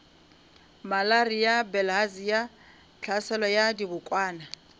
malaria bilharzia tlhaselo ya dibokwana